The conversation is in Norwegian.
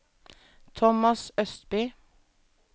Thomas Østby